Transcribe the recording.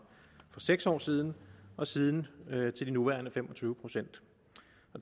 seks år siden og siden til de nuværende fem og tyve procent